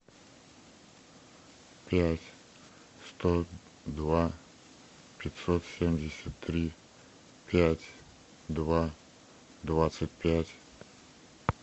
пять сто два пятьсот семьдесят три пять два двадцать пять